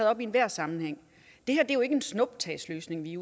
op i enhver sammenhæng det her er jo ikke en snuptagsløsning vi